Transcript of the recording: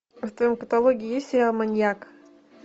в твоем каталоге есть сериал маньяк